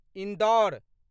Indore